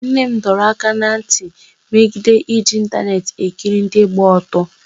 nne m dọrọ aka ná ntị megide iji ịntaneetị ekiri ndị gba ọtọ